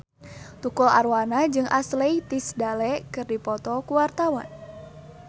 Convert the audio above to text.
Tukul Arwana jeung Ashley Tisdale keur dipoto ku wartawan